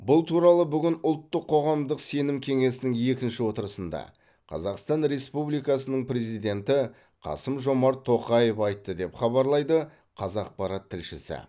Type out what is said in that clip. бұл туралы бүгін ұлттық қоғамдық сенім кеңесінің екінші отырысында қазақстан республикасының президенті қасым жомарт тоқаев айтты деп хабарлайды қазақпарат тілшісі